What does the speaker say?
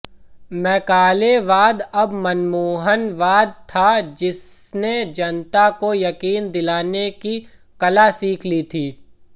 मैकालेवाद अब मनमोहनवाद था जिसने जनता को यकीन दिलाने की कला सीख ली थी